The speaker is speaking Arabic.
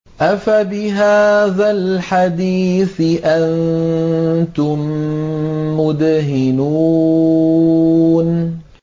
أَفَبِهَٰذَا الْحَدِيثِ أَنتُم مُّدْهِنُونَ